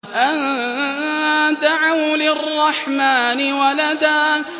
أَن دَعَوْا لِلرَّحْمَٰنِ وَلَدًا